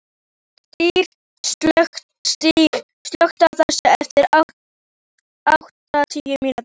Styr, slökktu á þessu eftir áttatíu mínútur.